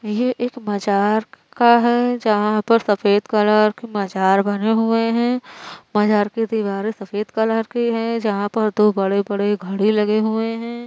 ये एक मजार का है जहाँ पर सफेद कलर के मज़ार बने हुए हैं। मज़ार की दिवारें सफेद कलर की है जहाँ पर दो बड़े-बड़े घड़ी लगे हुए हैं।